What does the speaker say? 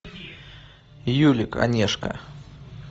юлик онешко